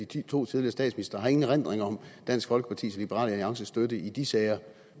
de to tidligere statsministre og har ingen erindring om dansk folkepartis og liberal alliances støtte i de sager